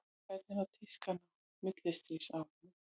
hvernig var tískan á millistríðsárunum